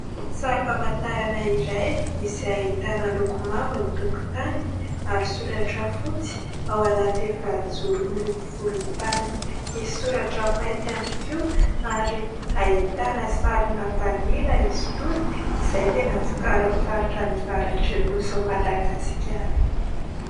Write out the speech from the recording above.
Sary famantarana iray izay ahitana loko mavo ny tokotaniny ary soratra fotsy ao anaty efajoro miloko volotany. Misy soratra mainty ihany koa ary ahitana sarina "vanila" izy itony izay tena vokarin'ny faritra anỳ avaratrin'ny nosin'i Madagasikara.